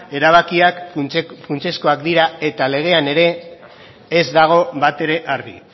erabakiak funtsezkoak dira eta legean ere ez dago batere argi